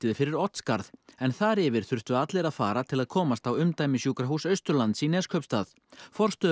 fyrir Oddsskarð en þar yfir þurftu allir að fara til að komast á umdæmissjúkrahús Austurlands í Neskaupstað